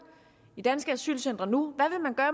i danske asylcentre nu